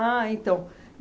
Ah, então.